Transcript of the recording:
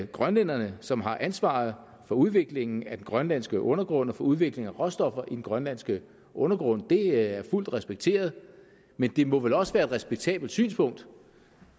grønlænderne som har ansvaret for udviklingen af den grønlandske undergrund og for udvinding af råstoffer i den grønlandske undergrund det er fuldt respekteret men det må vel også være et respektabelt synspunkt